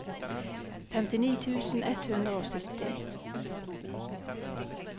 femtini tusen ett hundre og sytti